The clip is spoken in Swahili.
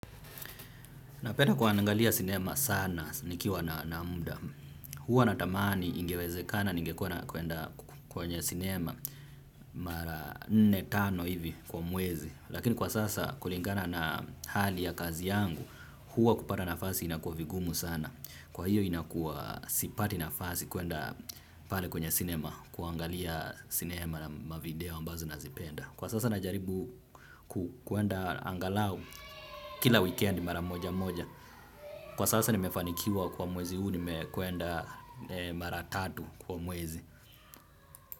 Napenda kuangalia sinema sana nikiwa na muda. Huwa natamani ingewezekana, ningekuwa nakwenda kwenye sinema mara nne tano hivi kwa mwezi. Lakini kwa sasa kulingana na hali ya kazi yangu, huwa kupata nafasi inakuwa vigumu sana. Kwa hiyo inakuwa sipati nafasi kwenda pale kwenye sinema, kuangalia sinema na mavideo ambazo nazipenda. Kwa sasa najaribu kuenda angalau, kila wikendi mara moja moja. Kwa sasa nimefanikiwa kwa mwezi huu nimekwenda mara tatu kwa mwezi.